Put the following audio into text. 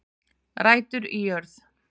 Rætur í jörð